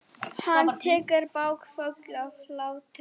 Hann tekur bakföll af hlátri.